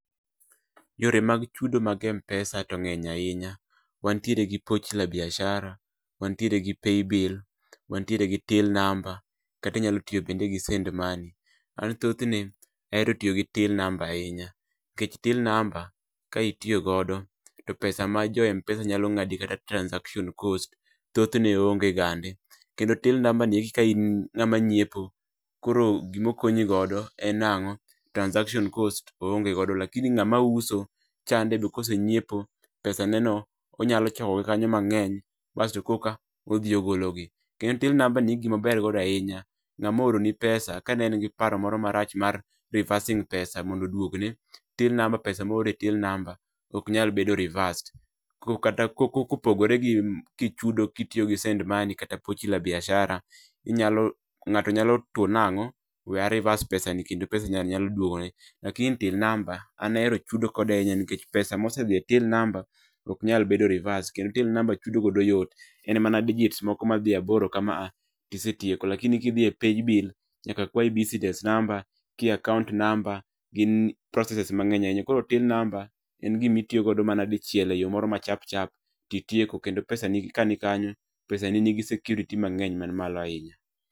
Yore mag chudo mag m-pesa to ng'eny ahinya. Wantiere gi pochi la biashara, wantiere gi paybill, wantiere gi till number, kati inyalo tiyo bende gi send money An thothne, aero tiyo gi till number ahinya nikech till number ka itiyo godo, to pesa ma jo m-pesa nyalo ng'adi kata transaction cost, tothne onge gande. Kendo till number ni eki ka in ng'ama nyiepo, koro gimo okonyi godo en nang'o transaction cost oonge godo lakini ng'ama uso, chande ni be kosenyiepo, pesane no, onyalo choko gi kanyo mang'eny basto koka, odhi ogologi. Kendo till number ni gima ober godo ahinya, ng'ama ooroni pesa, ka ne en giparo moro marach mar reversing pesa mondo oduogne, till number pesa moore till number, ok nyabedo reversed. Ko kata ko ko kopogore gi kichudo kitiyo gi send money kata pochi la biashara, inyalo, ng'ato nyalo two nang'o, we a reverse pesani kendo pesano nyalo nyalo duogone. lakini till number, an ahero chudo kode ahinya nikech pesa monosedhi e till number ok nyal bedo reversed kendo till number chudo godo yot, en mana digits moko madhi aboro kama tisetieko lakini kidhi e paybill, nyaka kwayi business number kia account number, gin processes mang'eny ahinya. koro till number, en gimitiyo godo mana dichiel eyo moro ma chapchap titieko. Kendo pesani ka nikanyo, pesane nigi security mang'eny man malo ahinya